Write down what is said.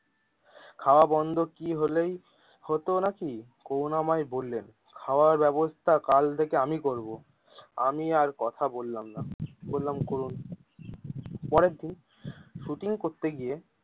খাওয়া বন্ধ কি হলেই হতো নাকি করুনাময় বললেন খাওয়ার ব্যবস্থা কাল থেকে আমি করবো আমি আর কথা বললাম না বললাম করুন পরের দিন শুটিং করতে গিয়ে।